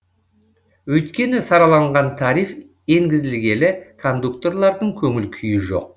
өйткені сараланған тариф енгізілгелі кондукторлардың көңіл күйі жоқ